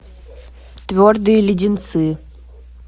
твердые леденцы